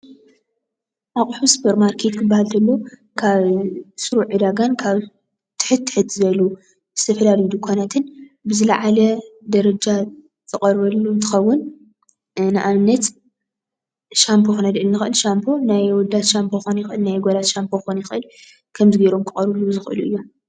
ኣቁሑ ስፖርማርኬት ክባሃል ከሎ ካብ ስሩዕ ዕዳጋን ካብ ትሕት ትሕት ዝበሉ ዝተፈላለዩ ድኳናትን ብዝለዓለ ደረጃ ዝቀርበሉ አንትኮውን ንኣብነት ሻምቦ ክነልዕል ንክእል። ሻምቦ ናይ ኣወዳት ሻምቦ ክኮን ፣ይክእል ናይ ኣጓላት ሻምቦ ክኮን ይክአል፥ ከምዚ ገይሮም ክቀርቡሉ ዝክእሉ እዮም።